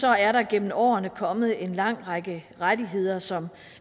er der gennem årene kommet en lang række rettigheder som